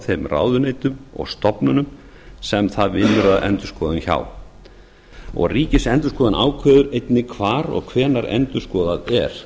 þeim ráðuneytum og stofnunum sem það vinnur að endurskoðun hjá ríkisendurskoðun ákveður einnig hvar og hvenær endurskoðað er